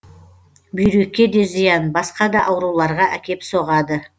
бүйрекке де зиян басқа да ауруларға әкеп соғады